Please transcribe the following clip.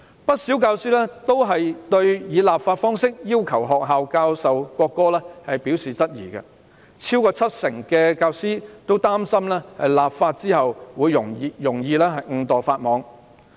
不少教師對於以立法方式要求學校教授國歌表示質疑，超過七成教師擔心立法後會容易誤墮法網。